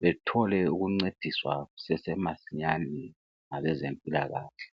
bethole ukuncediswa kusase masinyane ngabezempilakahle